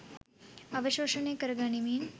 අවශෝෂණය කර ගනිමින්